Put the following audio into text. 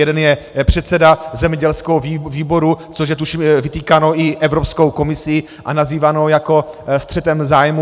Jeden je předseda zemědělského výboru, což je tuším vytýkáno i Evropskou komisí a nazýváno jako střetem zájmů.